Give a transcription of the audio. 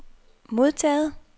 modtaget